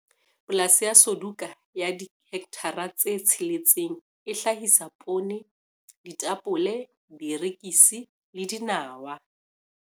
Polasi ya Suduka ya dihekthara tse tsheletseng e hlahisa poone, ditapole, dierekisi le dinawa.